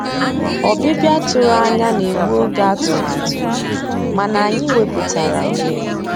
Ọ́bị́bịá tụ̀rụ̀ ànyá ná-ègbu ògé àtụ̀màtụ́, mànà ànyị́ wepụ́tárá òghéré.